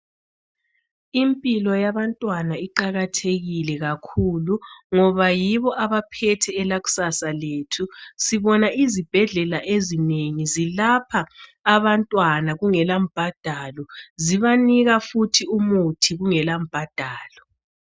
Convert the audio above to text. Impilo yabantwana iqakathekile kakhulu ngoba yibo abaphethe ikusasa lethu sibona izibhedlela ezinengi zilapha abantwana kungela mbhadalo zibanika futhi umuthi kungela mbhadalo.